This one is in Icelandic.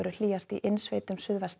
hlýjast í innsveitum